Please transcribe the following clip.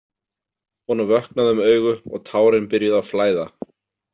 Honum vöknaði um augu og tárin byrjuðu að flæða.